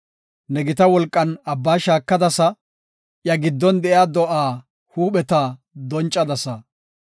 Ne gita wolqan abba shaakadasa; iya giddon de7iya do7aa huupheta doncadasa.